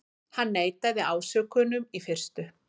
Hann neitaði ásökunum í fyrstu